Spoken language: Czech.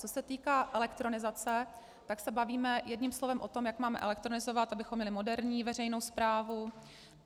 Co se týká elektronizace, tak se bavíme jedním slovem o tom, jak máme elektronizovat, abychom měli moderní veřejnou správu.